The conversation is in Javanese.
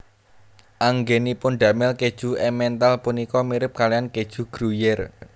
Anggènipun damel kèju Emmental punika mirip kalihan kèju Gruyère